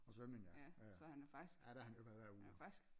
Og svømning ja jaja der er han jo i bad hver uge